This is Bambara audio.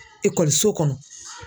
so kɔnɔ